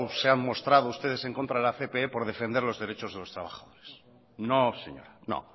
se han mostrado ustedes en contra de la cpe por defender los derechos de los trabajadores no señora no